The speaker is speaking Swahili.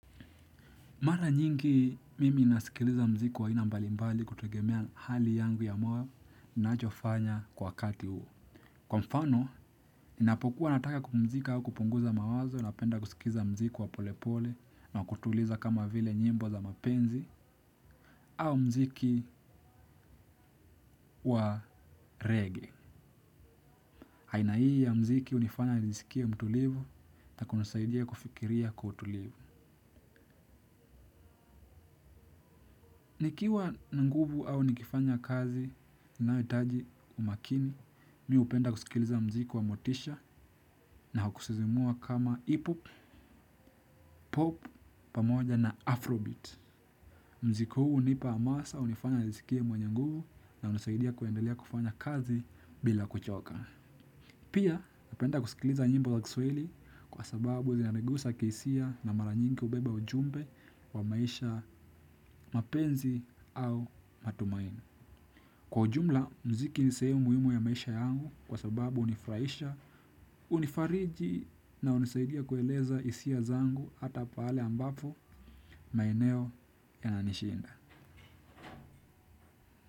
Mara nyingi mimi ninasikiliza mziki wa aina mbali mbali kutegemea hali yangu ya moyo ninacho fanya kwa wakati huu. Kwa mfano, ninapokuwa nataka kumzika au kupunguza mawazo napenda kusikiza mziki wa polepole na kutuliza kama vile nyimbo za mapenzi au mziki wa regea. Aina hii ya mziki hunifanya nisikie mtulivu, na kunisaidia kufikiria kwa utulivu. Nikiwa na nguvu au nikifanya kazi na taji umakini, mimi hupenda kusikiliza mziki wa motisha na kusisimua kama ipo, pamoja na afro bit. Mziki hunipa hamasa, hunifanya nisikie mwenye nguvu na hunisaidia kuendelea kufanya kazi bila kuchoka. Pia, hupenda kusikiliza nyimbo za kiswahili kwa sababu zinanigusa kihisia na mara nyingi hubeba ujumbe wa maisha mapenzi au matumaini. Kwa ujumla, mziki ni sehemu muhimu ya maisha yangu kwa sababu hunifurahisha, hunifariji na hunisaidia kueleza hisia zangu hata pale ambapo maeneo yana nishinda.